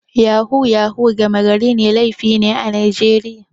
Yahu-yahu gama garin laifi ne a Najeriya.